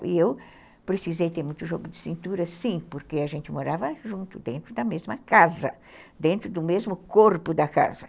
E eu precisei ter muito jogo de cintura, sim, porque a gente morava junto, dentro da mesma casa, dentro do mesmo corpo da casa.